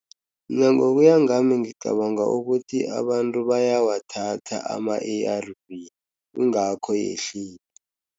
Mina ngokuyangami ngicabanga ukuthi abantu bayawathatha ama-A_R_Vs kungakho yehlukile.